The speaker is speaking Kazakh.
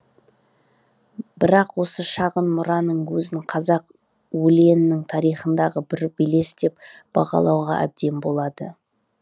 бірақ осы шағын мұраның өзін қазақ өлеңінің тарихындағы бір белес деп бағалауға әбден болады